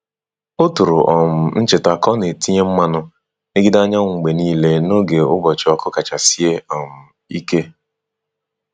O tụrụ um ncheta ka ọ na-etinye mmanụ megide anyanwụ mgbe niile n’oge ụbọchị ọkụ kacha sie um ike.